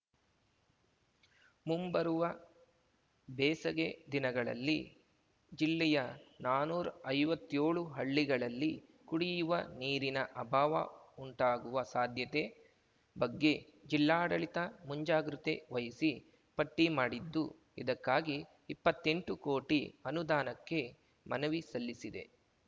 ಮುಂಬರುವ ಬೇಸಗೆ ದಿನಗಳಲ್ಲಿ ಜಿಲ್ಲೆಯ ನಾನ್ನೂರ್ ಐವತ್ತ್ಯೋಳ್ ಹಳ್ಳಿಗಳಲ್ಲಿ ಕುಡಿಯುವ ನೀರಿನ ಅಭಾವ ಉಂಟಾಗುವ ಸಾಧ್ಯತೆ ಬಗ್ಗೆ ಜಿಲ್ಲಾಡಳಿತ ಮುಂಜಾಗ್ರತೆ ವಹಿಸಿ ಪಟ್ಟಿಮಾಡಿದ್ದು ಇದಕ್ಕಾಗಿ ಇಪ್ಪತ್ತೆಂಟು ಕೋಟಿ ಅನುದಾನಕ್ಕೆ ಮನವಿ ಸಲ್ಲಿಸಿದೆ